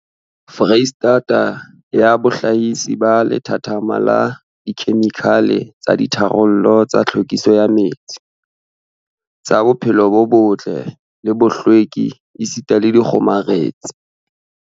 Freistata ya bohlahisi ba lethathama la dikhemikhale tsa ditharollo tsa tlhwekiso ya metsi, tsa bophelo bo botle le bohlweki esita le dikgomaretsi.